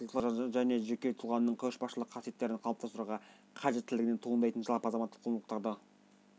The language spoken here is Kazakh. еңбекке деген қабілеттімен жан-жақтылыққа және жеке тұлғаның көшбасшылық қасиеттерін қалыптастыруға қажеттілігінен туындайтын жалпы азаматтық құндылықтарды